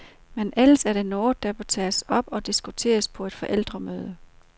Men ellers er det noget, der bør tages op og diskuteres på et forældremøde.